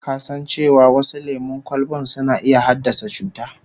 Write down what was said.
Ka san cewa wasu lemon kwalban suna iya haddasa cuta?